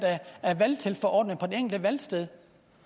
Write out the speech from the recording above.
af valgtilforordnede på det enkelte valgsted